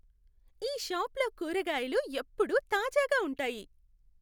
ఈ షాప్లో కూరగాయలు ఎప్పుడూ తాజాగా ఉంటాయి!